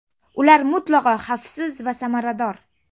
Ular mutlaqo xavfsiz va samarador.